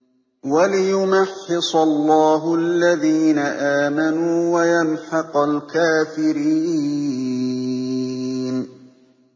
وَلِيُمَحِّصَ اللَّهُ الَّذِينَ آمَنُوا وَيَمْحَقَ الْكَافِرِينَ